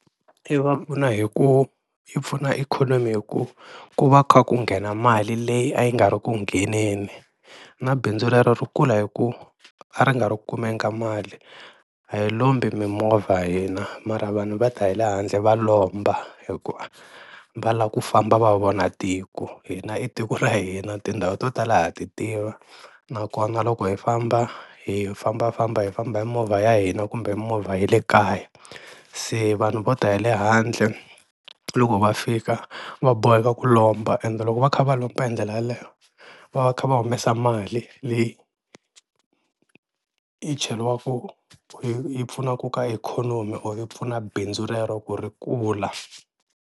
I va pfuna hi ku yi pfuna ikhonomi hi ku ku va kha ku nghena mali leyi a yi nga ri ku ngheniseni na bindzu rero ri kula hi ku a ri nga ri ku kumeni ka mali, a hi lombi mimovha hina mara vanhu va ta hi le handle va lomba hikuva va lava ku famba va vona tiko hina i tiko ra hina tindhawu to tala ha ti tiva nakona loko hi famba, hi fambafamba hi famba hi movha ya hina kumbe movha ya le kaya, se vanhu vo ta hi le handle loko va fika va boheka ku lomba ende loko va kha va lomba hi ndlela yaleyo va va kha va humesa mali leyi yi cheriwaku yi pfunaka ka ikhonomi or yi pfuna bindzu rero ku ri kula.